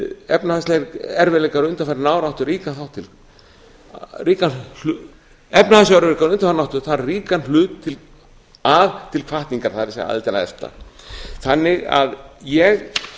efnahagslegir erfiðleikar undanfarinna ára áttu þar ríkan hlut til hvatningar það er aðildar að efta ég